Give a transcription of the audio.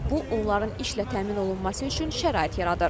Bu onların işlə təmin olunması üçün şərait yaradır.